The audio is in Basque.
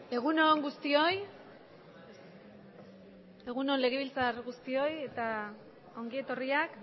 egun on guztioi egun on legebiltzarkide guztioi eta ongi etorriak